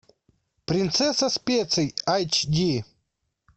принцесса специй айч ди